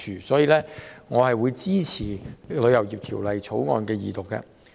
因此，我會支持二讀《條例草案》。